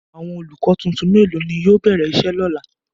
Awọn olukọ tuntun melo ni yóò bẹrẹ iṣe lọla?